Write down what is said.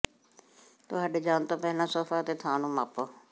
ਤੁਹਾਡੇ ਜਾਣ ਤੋਂ ਪਹਿਲਾਂ ਸੋਫਾ ਅਤੇ ਥਾਂ ਨੂੰ ਮਾਪੋ